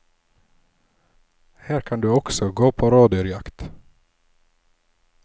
Her kan du også gå på rådyrjakt.